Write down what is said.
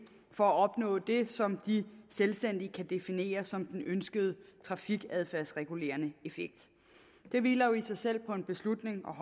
for at opnå det som de selvstændigt kan definere som den ønskede trafikadfærdsregulerende effekt det hviler jo i sig selv på en beslutning om